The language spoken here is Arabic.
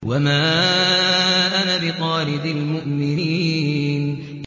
وَمَا أَنَا بِطَارِدِ الْمُؤْمِنِينَ